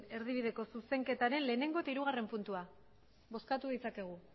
erdibideko zuzenketaren batgarrena eta hirugarrena puntua bozkatu ditzakegu